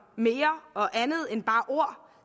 mere og andet end bare ord